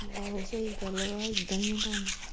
ਆਹੋ ਸਹੀ ਗੱਲ ਵਾ ਇਦਾ ਈ ਏ ਕੰਮ।